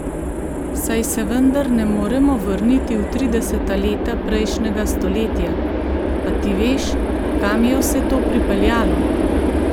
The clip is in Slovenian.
Saj se vendar ne moremo vrniti v trideseta leta prejšnjega stoletja, pa ti veš, kam je vse to pripeljalo?